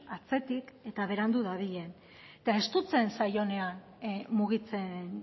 atzetik eta berandu dabilen eta estutzen zaionean mugitzen